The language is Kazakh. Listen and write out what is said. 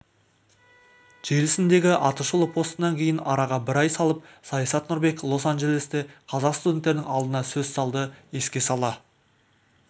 желісіндегі атышулы постынан кейін араға бір ай салып саясат нұрбек лос-анджелесте қазақ студенттерінің алдында сөз алды еске сала